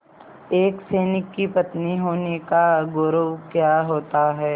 एक सैनिक की पत्नी होने का गौरव क्या होता है